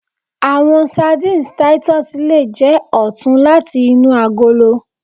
Awọn sardines titus le jẹ ọtun lati inu agolo